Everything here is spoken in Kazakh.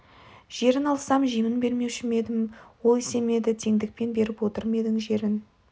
жерін алсам жемін бермеуші ме едім ол есе ме еді тендікпен беріп отыр ма едің жерін